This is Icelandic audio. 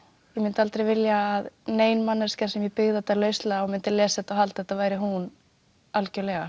ég mundi aldrei vilja að nein manneskja sem ég byggði þetta lauslega á myndi lesa þetta og halda að þetta væri hún algjörlega